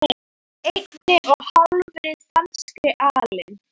einni og hálfri danskri alin